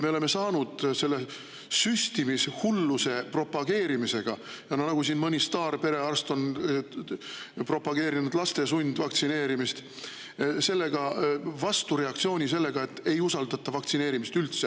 Me oleme saanud selle süstimishulluse propageerimisega – siin mõni staarperearst on propageerinud laste sundvaktsineerimist – vastureaktsiooni ja enam ei usaldata vaktsineerimist üldse.